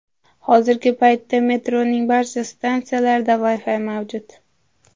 Hozirgi paytda metroning barcha stansiyalarida Wi-Fi mavjud.